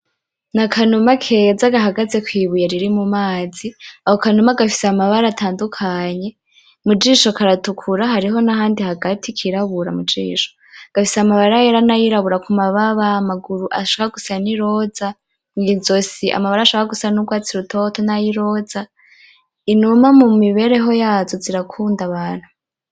Ni akanuma keza gahagaze kwibuye riri mu mazi ,ako kanuma gafise amabara atandukanye mu jisho karatukura hariho nahandi hagati kirabura mu jisho gafise amabara yera n'ayirabura ku mababa amaguru ashaka gusa ni roza mwizosi amabara ashaka gusa nurwatsi rutoto nayiroza, inuma mu mibereho yazo zirakunda abantu.